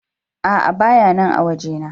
A'a bayanan a waje na.